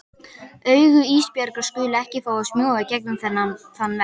Augu Ísbjargar skulu ekki fá að smjúga í gegnum þann vegg.